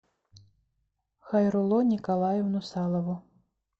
хайрулло николаевну салову